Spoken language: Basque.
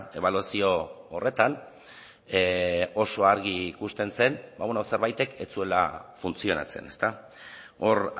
ebaluazio horretan oso argi ikusten zen zerbaitek ez zuela funtzionatzen hor